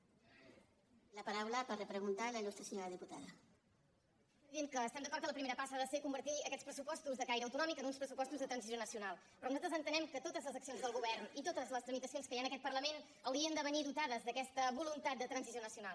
és evident que estem d’acord que la primera passa ha de ser convertir aquests pressupostos de caire autonò·mic en uns pressupostos de transició nacional però nosaltres entenem que totes les accions del govern i totes les tramitacions que hi ha en aquest parlament haurien de venir dotades d’aquesta voluntat de transi·ció nacional